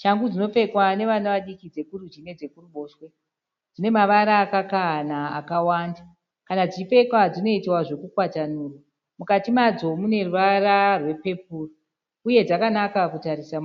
Shangu dzinopfekwa nevana vadiki dzekurudyi nedzekuruboshwe. Dzine mavara akakahana akawanda . Kana dzichipfekwa dzinoitwa zvekukwatanurwa. Mukati madzo dzine ruvara rwepepuro uye dzakanaka kudzitarisa.